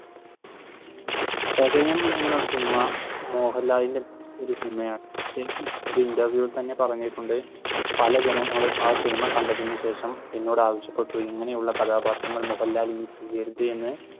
ചതയം എന്ന സിനിമ മോഹൻലാലിന്റെ ഒരു സിനിമയാണ്. ശരിക്കും ഒരു interview ഇൽ തന്നെ പറഞ്ഞിട്ടുണ്ട് പലജനങ്ങളും ആ സിനിമ കണ്ട ശേഷം എന്നോട് ആവശ്യപ്പെട്ടു ഇങ്ങനെയുള്ള കഥാപാത്രങ്ങൾ മോഹൻലാലിന്